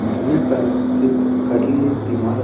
जुन्या काळातील काढलेली इमारत आहे.